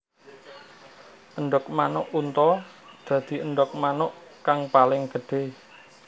Endhog manuk unta dadi endhog manuk kang paling gedhé